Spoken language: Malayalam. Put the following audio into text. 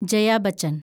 ജയ ബച്ചൻ